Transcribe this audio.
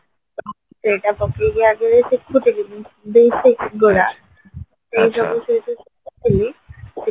ସେଇଟା ପକେଇକି ଆଗରୁ ଶିଖୁଥିଲି କିନ୍ତୁ